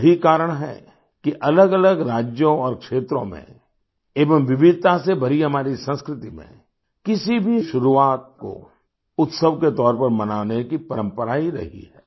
यही कारण है कि अलग अलग राज्यों और क्षेत्रों में एवं विविधता से भरी हमारी संस्कृति में किसी भी शुरुआत को उत्सव के तौर पर मनाने की परंपरा रही है